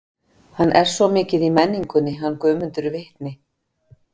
Hann er svo mikið í menningunni, hann Guðmundur vitni.